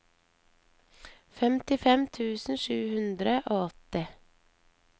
femtifem tusen sju hundre og åtti